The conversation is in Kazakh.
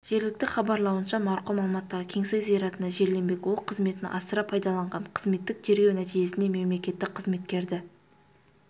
жергілікті хабарлауынша марқұм алматыдағы кеңсай зиратына жерленбек ол қызметін асыра пайдаланған қызметтік тергеу нәтижесінде мемлекеттік қызметкерді